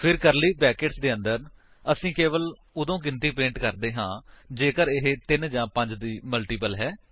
ਫਿਰ curly brackets ਦੇ ਅੰਦਰ ਅਸੀ ਕੇਵਲ ਉਦੋਂ ਗਿਣਤੀ ਪ੍ਰਿੰਟ ਕਰਦੇ ਹਾਂ ਜੇਕਰ ਇਹ 3 ਜਾਂ 5 ਦੀ ਮਲਟੀਪਲ ਹੈ